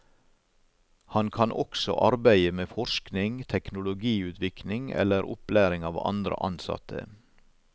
Han kan også arbeide med forskning, teknologiutvikling eller opplæring av andre ansatte.